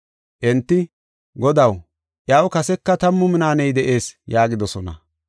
“Enti, ‘Godaw, iyaw kaseka tammu minaaney de7ees’ yaagidosona.